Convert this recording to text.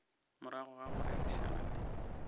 morago ga go rerišana le